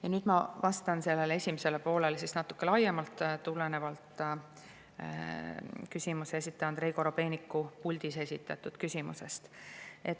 " Ja nüüd ma vastan esimesele poolele natuke laiemalt tulenevalt esitleja Andrei Korobeiniku puldis esitatud küsimusest.